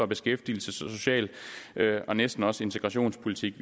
beskæftigelses social og næsten også integrationspolitik